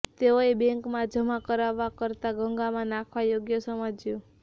તેઓએ બેંકમાં જમા કરાવવા કરતા ગંગામાં નાખવા યોગ્ય સમજ્યું